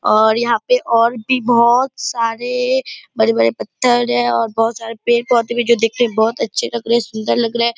और यहाँ पे और भी बहुत सारे बड़े-बड़े पत्थर हैं और बहुत सारे पेड़-पौधे हैं जो देखने में बहुत अच्छे लग रहे हैं सुन्दर लग रहा है ।